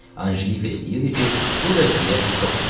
Anjelika istəyirdi ki, bu vəziyyət çox sürsün.